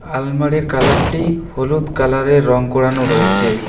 আলমারির কালার -টি হলুদ কালার -এর রং করানো রয়েচে।